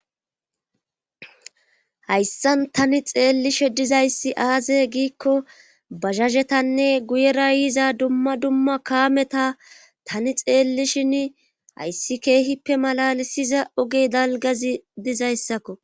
Hayssan tani xeellishe dizayssi aaze giikko bahazhetanne guyera yiza dumma duma kaameta tani xeellishin hayssi keehippe malalisiza ogey dalgazi dizayssakko